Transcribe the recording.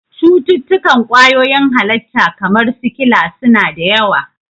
Cututtukan kwayoyin halitta, kamar sikila, su na da yawa.